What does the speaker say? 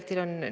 Aitäh!